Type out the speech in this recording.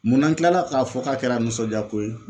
Mun n'an kilala k'a fɔ k'a kɛra nisɔndiya ko ye